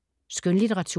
Skønlitteratur